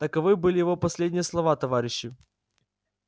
таковы были его последние слова товарищи